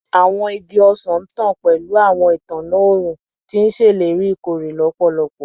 Awọn igi ọsan ntan pẹlu awọn itanna õrùn, ti n ṣeleri ikore lọpọlọpọ